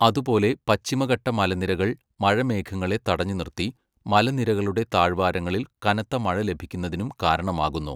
അതുപോലെ പശ്ചിമഘട്ട മലനിരകൾ മഴമേഘങ്ങളെ തടഞ്ഞു നിർത്തി മലനിരകളുടെ താഴ്‌ വാരങ്ങളിൽ കനത്ത മഴ ലഭിക്കുന്നതിനും കാരണമാകുന്നു..